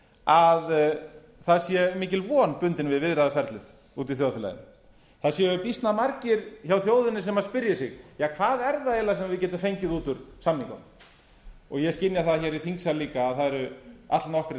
að það sé mikil von bundið við viðræðuferlið úti í þjóðfélaginu það séu býsna margir sem spyrji sig hvað er það eiginlega sem við getum fengið út úr samningunum ég skynja það í þingsal líka að það eru allnokkrir